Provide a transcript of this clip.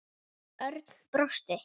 Örn brosti.